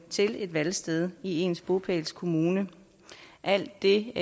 til et valgsted i ens bopælskommune alt det